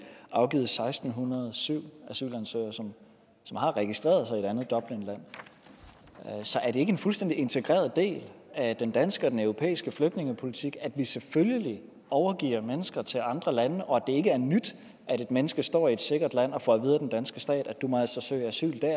afgivet seksten hundrede og syv asylansøgere som har registreret sig i et andet dublinland så er det ikke en fuldstændig integreret del af den danske og den europæiske flygtningepolitik at vi selvfølgelig overgiver mennesker til andre lande og at det ikke er nyt at et menneske står i et sikkert land og får at vide af den danske stat at vedkommende må søge asyl der